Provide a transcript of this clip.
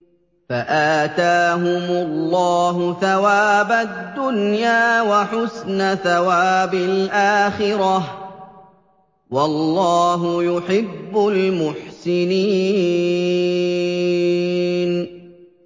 فَآتَاهُمُ اللَّهُ ثَوَابَ الدُّنْيَا وَحُسْنَ ثَوَابِ الْآخِرَةِ ۗ وَاللَّهُ يُحِبُّ الْمُحْسِنِينَ